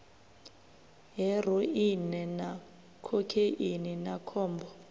heroine na khokheini na khombo